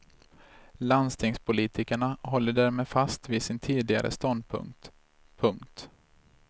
Landstingspolitikerna håller därmed fast vid sin tidigare ståndpunkt. punkt